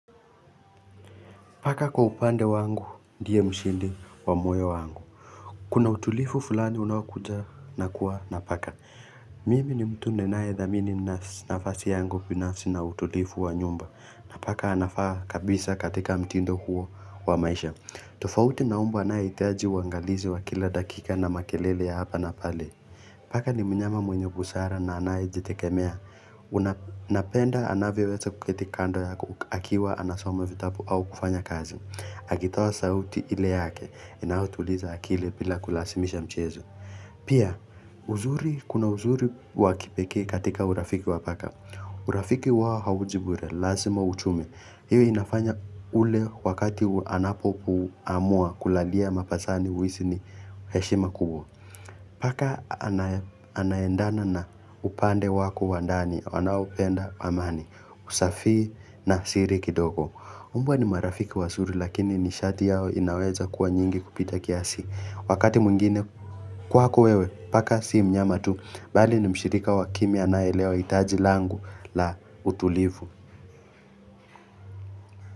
Paka kwa upande wangu, ndiye mshindi wa moyo wangu. Kuna utulivu fulani unaokuja nakuwa na paka. Mimi ni mtu ninayedhamini nafasi yangu binafsi na utulivu wa nyumba. Paka anafaa kabisa katika mtindo huo wa maisha. Tofauti na mbwa anahitaji uwangalizi wa kila dakika na makelele ya hapa na pale. Paka ni mnyama mwenye busara na anayejitegemea. Napenda anavyoweza kuketi kando ya ukiwa anasome vitabu au kufanya kazi. Akitoa sauti ile yake, inautuliza akili bila kulazimisha mchezo. Pia, kuna uzuri wakipekee katika urafiki wa paka. Urafiki wao hauji bure, lazima ujitume. Hiyo inafanya ule wakati anapoamua kulalia mapajani uhisi ni heshima kubwa. Paka anaendana na upande wako wandani, anaopenda amani, usafi na siri kidogo. Umbwa ni marafiki wazuri lakini masharti yao yanaweza kuwa nyingi kupita kiasi. Wakati mwingine kwako wewe, paka sii mnyama tu, bali ni mshirika wa kimi anaelewa hitaji langu la utulivu.